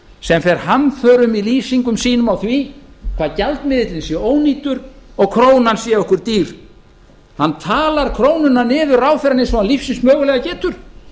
sem fer hamförum í lýsingum sínum á því hvað gjaldmiðillinn sé ónýtur og þjóðinni dýr hann talar krónuna niður ráðherrann eins og hann lífsins mögulega getur